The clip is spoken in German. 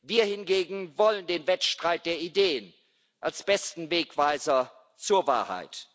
Wir hingegen wollen den Wettstreit der Ideen als besten Wegweiser zur Wahrheit.